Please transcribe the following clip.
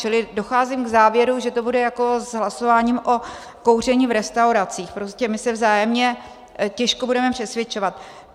Čili docházím k závěru, že to bude jako s hlasováním o kouření v restauracích, prostě my se vzájemně těžko budeme přesvědčovat.